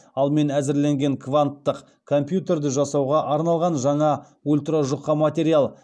ал мен әзірленген канттық компьютерді жасауға арналған жаңа ультра жұқа материал